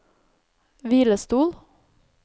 hvilestol